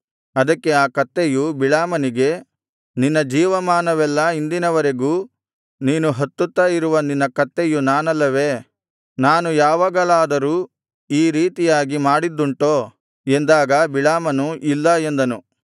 ಅದಕ್ಕೆ ಆ ಕತ್ತೆಯು ಬಿಳಾಮನಿಗೆ ನಿನ್ನ ಜೀವಮಾನವೆಲ್ಲಾ ಇಂದಿನವರೆಗೂ ನೀನು ಹತ್ತುತ್ತಾ ಇರುವ ನಿನ್ನ ಕತ್ತೆಯು ನಾನಲ್ಲವೇ ನಾನು ಯಾವಾಗಲಾದರೂ ಈ ರೀತಿಯಾಗಿ ಮಾಡಿದ್ದುಂಟೋ ಎಂದಾಗ ಬಿಳಾಮನು ಇಲ್ಲ ಎಂದನು